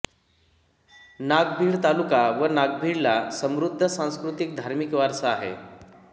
नागभीड तालुका व नागभीडला समृध्द सांस्कृतिक धार्मिक वारसा आहे